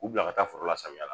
U bila ka taa foro la samiya la